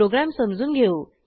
program समजून घेऊ